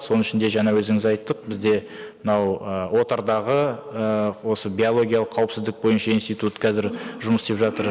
соның ішінде жаңа өзіміз айттық бізде мынау ыыы отардағы ыыы осы биологиялық қауіпсіздік бойынша институт қазір жұмыс істеп жатыр